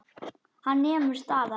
Hann nemur staðar.